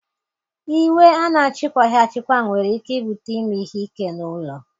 Iwe a na-achịkwaghị achịkwa nwere ike ibute ime ihe ike n'ụlọ